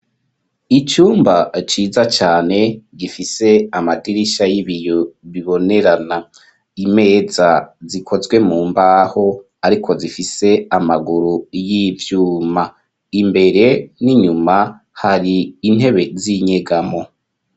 Icumba ciza cane gifise amadirisha y'ibiyo bibonerana imeza zikozwe mu mbaho, ariko zifise amaguru y'ivyuma, imbere n'inyuma hari intebe z'inyegamo.